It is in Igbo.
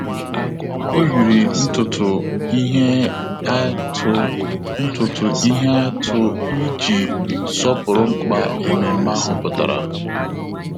Ọ́ yìrì ntụtụ ihe atụ ntụtụ ihe atụ iji sọ́pụ́rụ́ mkpa ememe ahụ pụ́tàrà.